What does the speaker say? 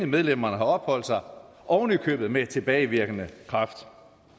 medlemmerne har opholdt sig oven i købet med tilbagevirkende kraft